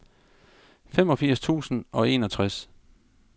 femogfirs tusind og enogtres